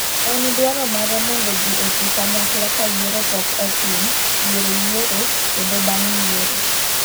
En dwaro mare mondo ji oti kanyakla kayiero pok otim, diere yiero kendo bang' yiero.